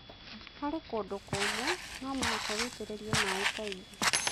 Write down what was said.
Harĩ kũndũ kũmũ, no mũhaka witĩrĩrie maĩ kaingĩ.